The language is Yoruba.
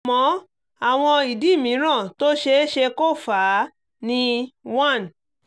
àmọ́ àwọn ìdí mìíràn tó ṣe é ṣe kó fà á ni one